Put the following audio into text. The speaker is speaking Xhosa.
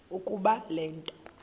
ukuba le nto